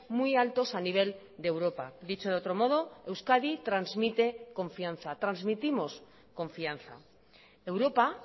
muy altos a nivel de europa dicho de otro modo euskadi transmite confianza transmitimos confianza europa